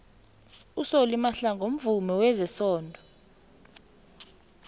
usolly mahlangu mvumi wezesondo